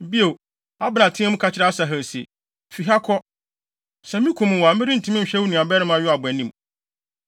Bio, Abner teɛɛ mu ka kyerɛɛ Asahel se, “Fi ha kɔ! Sɛ mikum wo a, merentumi nhwɛ wo nuabarima Yoab anim.”